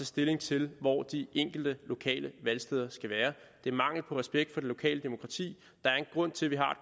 stilling til hvor de enkelte lokale valgsteder skal være det er mangel på respekt for det lokale demokrati der er en grund til at vi har